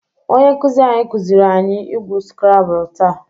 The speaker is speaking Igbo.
Onye nkụzị anyị kụzịrị anyị igwu skrabụl taa.